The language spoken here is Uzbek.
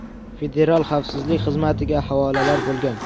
Federal xavfsizlik xizmatiga havolalar bo‘lgan.